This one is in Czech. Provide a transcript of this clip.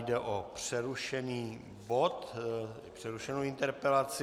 Jde o přerušený bod, přerušenou interpelaci.